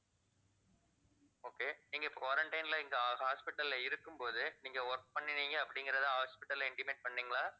okay நீங்க இப்ப quarantine ல இங்க ho~ hospital ல இருக்கும் போதே நீங்க work பண்ணுனீங்க அப்படிங்கிறதை hospital ல intimate பண்ணீங்களா